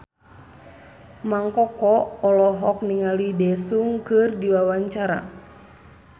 Mang Koko olohok ningali Daesung keur diwawancara